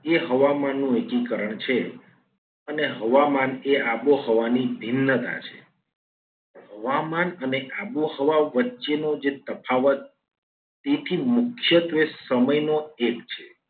એ હવામાનનું એકીકરણ છે. અને હવામાન એ આબોહવાની ભિન્નતા છે. હવામાન અને આબોહવા વચ્ચે નો જે તફાવત તેથી મુખ્યત્વે સમયનો એક છે.